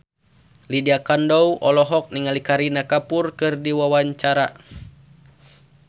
Lydia Kandou olohok ningali Kareena Kapoor keur diwawancara